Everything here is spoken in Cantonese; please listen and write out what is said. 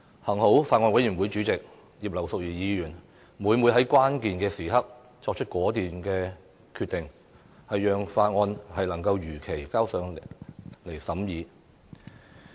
幸好，法案委員會主席葉劉淑儀議員每每在關鍵時刻作出果斷決定，讓《條例草案》能如期提交立法會進行二讀。